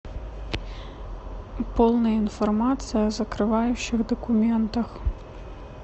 полная информация о закрывающих документах